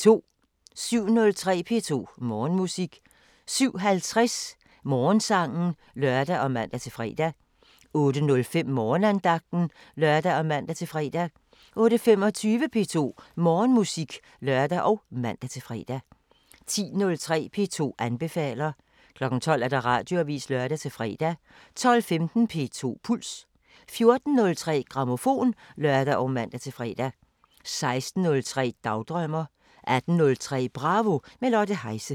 07:03: P2 Morgenmusik 07:50: Morgensangen (lør og man-fre) 08:05: Morgenandagten (lør og man-fre) 08:25: P2 Morgenmusik (lør og man-fre) 10:03: P2 anbefaler 12:00: Radioavisen (lør-fre) 12:15: P2 Puls 14:03: Grammofon (lør og man-fre) 16:03: Dagdrømmer 18:03: Bravo – med Lotte Heise